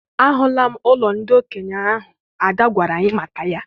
Ahụlam ụlọ ndị okenye ahụ Ada gwara anyị maka ya.